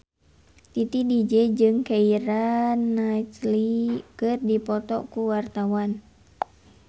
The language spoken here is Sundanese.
Titi DJ jeung Keira Knightley keur dipoto ku wartawan